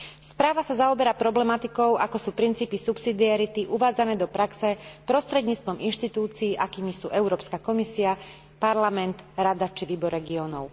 Správa sa zaoberá problematikou, ako sú princípy subsidiarity uvádzané do praxe prostredníctvom inštitúcií, akými sú Európska komisia, Parlament, Rada či Výbor regiónov.